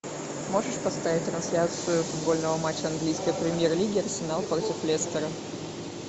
можешь поставить трансляцию футбольного матча английской премьер лиги арсенал против лестера